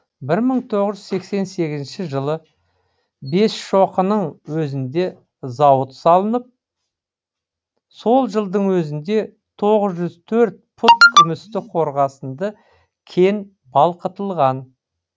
бір мың тоғыз жүз сексен сегізінші жылы бесшоқының өзінде зауыт салынып сол жылдың өзінде тоғыз жүз төрт пұт күмісті қорғасынды кен балқытылған